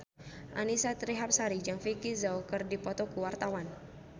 Annisa Trihapsari jeung Vicki Zao keur dipoto ku wartawan